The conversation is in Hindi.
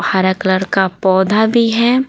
हरा कलर का पौधा भी है।